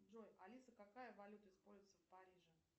джой алиса какая валюта используется в париже